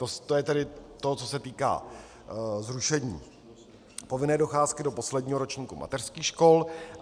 To je tedy to, co se týká zrušení povinné docházky do posledního ročníku mateřských škol.